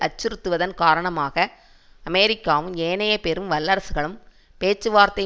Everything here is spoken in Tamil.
அச்சுறுத்துவதன் காரணமாக அமெரிக்காவும் ஏனைய பெரும் வல்லரசுகளும் பேச்சுவார்த்தை